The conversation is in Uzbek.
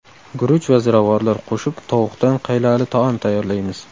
Guruch va ziravorlar qo‘shib tovuqdan qaylali taom tayyorlaymiz.